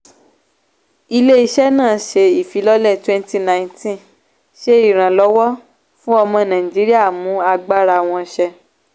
ilé-iṣẹ́ náà ṣe ìfilọ́lẹ̀ 2019 ṣe ìrànlọ́wọ́ fún ọmọ nàìjíríà mú agbára wọn ṣẹ.